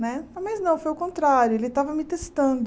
Né mas não, foi o contrário, ele estava me testando.